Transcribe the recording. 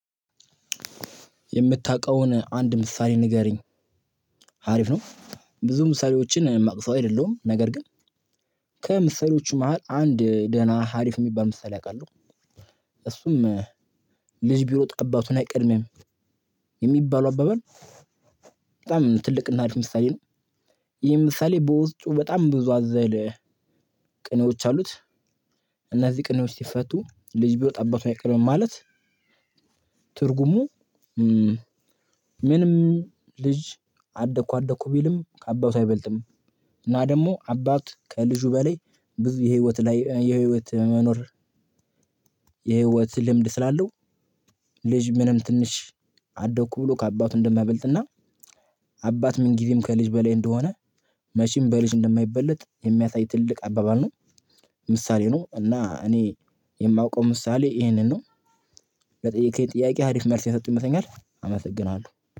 የምታውቀውን አንድ ምሳሌ ንገሪኝ? አሪፍ ነው። ብዙ ምሳሌዎችን ማውቅ ሰው አይደለሁም። ነገር ግን ከምሳሌዎቹ መሃል አንድ ደህና አሪፍ የሚባል ምሳሌ አውቃለሁ። እሱም "ልጅ ቢሮጥ አባቱን አይቀድምም" የሚባለው አባባል በጣም ትልቅ እና አሪፍ ምሳሌ ነው። ይሄ ምሳሌ በውስጡ በጣም ብዙ አዘል ቅኔዎች አሉት። እነዚህ ቅኔዎች ሲፈቱ ልጅ ቢሮጥ አባቱን አይቀድምም ማለት ትርጉሙ ምንም ልጅ አደኩ አደኩ ቢልም ከአባቱ አይበልጥም እና ደግሞ አባት ከልጁ በላይ ብዙ የህይወት ላይ የህይወት መኖር የህይወት ልምድ ስላለው ልጅ ምንም ትንሽ አደኩ ብሎ ከአባቱ እንደማያበልጥና አባት ምን ጊዜም ከልጅ በላይ እንደሆነ መቼም በልጅ እንደማይበለጥ የሚያታይ ትልቅ አባባል ነው። ምሳሌ ነው። እና እኔ የማውቀው ምሳሌ ይሄንን ነው። ለጠየቅኸኝ ጥያቄ አሪፍ መልስ የሰጠሁህ ይመስለኛል። አመሰግናለሁ።